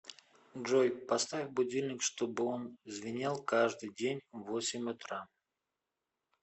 джой поставь будильник чтобы он звенел каждый день в восемь утра